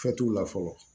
la fɔlɔ